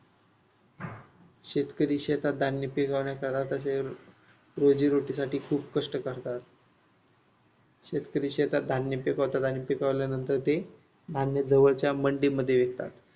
शेतकरी शेतात धान्य पिकवण्या रोजीरोटीसाठी खूप कष्ट करतात. शेतकरी शेतात धान्य पिकवतात आणि पिकवल्यानंतर ते धान्य जवळच्या मंडीमध्ये विकतात.